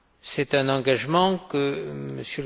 C'est un engagement que M.